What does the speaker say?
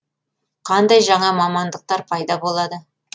қандай жаңа мамандықтар пайда болады